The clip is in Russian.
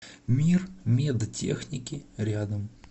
мир медтехники рядом